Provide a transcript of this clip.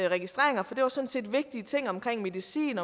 registreringer for det var sådan set vigtige ting omkring medicin